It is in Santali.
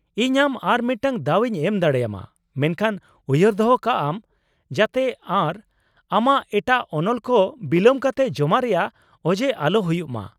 ᱤᱧ ᱟᱢ ᱟᱨ ᱢᱤᱫᱴᱟᱝ ᱫᱟᱣ ᱤᱧ ᱮᱢ ᱫᱟᱲᱮᱭᱟᱢᱟ, ᱢᱮᱱᱠᱷᱟᱱ ᱩᱭᱦᱟᱹᱨ ᱫᱚᱦᱚ ᱠᱟᱜ ᱟᱢ ᱡᱟᱛᱮ ᱟᱨᱚ ᱟᱢᱟᱜ ᱮᱴᱟᱜ ᱚᱱᱚᱞ ᱠᱚ ᱵᱤᱞᱟᱹᱢ ᱠᱟᱛᱮ ᱡᱚᱢᱟ ᱨᱮᱭᱟᱜ ᱚᱡᱮ ᱟᱞᱚ ᱦᱩᱭᱩᱜ ᱢᱟ ᱾